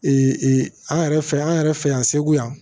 an yɛrɛ fɛ yan an yɛrɛ fɛ yan segu yan